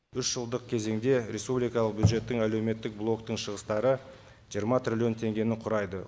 үш жылдық кезеңде республикалық бюджеттің әлеуметтік блоктың шығыстары жиырма трилллион теңгені құрайды